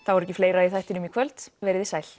er ekki fleira í þættinum í kvöld verið þið sæl